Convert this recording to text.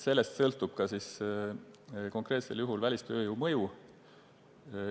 Sellest sõltub konkreetsel juhul ka välistööjõu mõju.